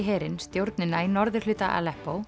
herinn stjórnina í norðurhluta